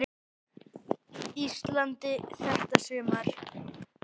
Íslandi þetta sumar.